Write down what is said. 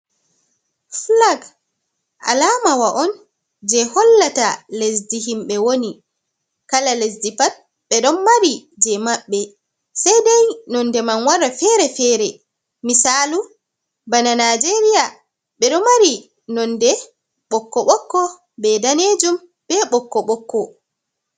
Flag alamawa on je hollata lesdi himɓɓe woni, kala lesdi pat ɓe ɗon mari je maɓɓe. Sei dei nonde man wara fere-fere misalu, bana naijeria ɓe ɗo mari nonde ɓokko ɓokko be danejum be ɓokko ɓokko.